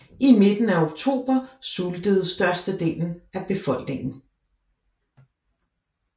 I midten af oktober sultede størstedelen af befolkningen